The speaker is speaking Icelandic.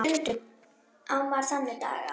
Stundum á maður þannig daga.